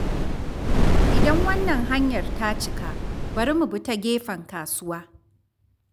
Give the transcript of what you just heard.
Idan wannan hanyar ta cika, bari mu bi ta gefen kasuwa.